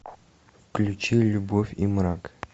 включи любовь и мрак